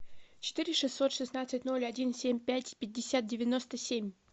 четыре шестьсот шестнадцать ноль один семь пять пятьдесят девяносто семь